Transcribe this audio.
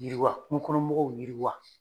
Yiriwa kungo kɔnɔ mɔgɔw yiriwa.